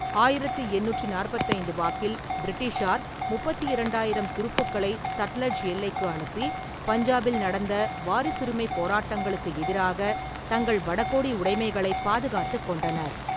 ஆயிரத்தி எண்ணூற்றி நாற்பத்தி ஐந்து வாக்கில் பிரிட்டிஷார் முப்பத்தி இரண்டாயிரம் துருப்புக்களை சட்லஜ் எல்லைக்கு அனுப்பி, பஞ்சாபில் நடந்த வாரிசுரிமைப் போராட்டங்களுக்கு எதிராக தங்கள் வடகோடி உடைமைகளைப் பாதுகாத்துக் கொண்டனர்.